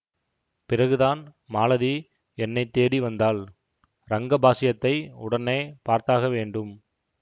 பிறகுதான் மாலதி என்னை தேடி வந்தாள் ரங்கபாஷ்யத்தை உடனே பார்த்தாக வேண்டும்